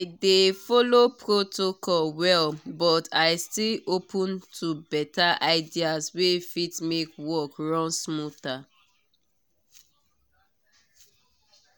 i dey follow protocol well but i still open to better ideas wey fit make work run smoother.